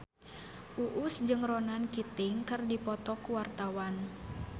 Uus jeung Ronan Keating keur dipoto ku wartawan